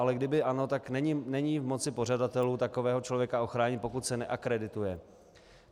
Ale kdyby ano, tak není v moci pořadatelů takového člověka ochránit, pokud se neakredituje.